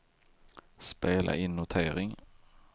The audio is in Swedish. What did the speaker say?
spela in notering